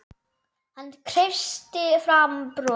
Hann kreisti fram bros.